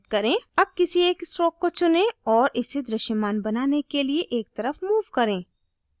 अब किसी एक strokes को चुनें और इसे दृश्यमान बनाने के लिए एक तरफ move करें